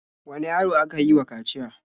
Wane yaro aka yi wa kaciya?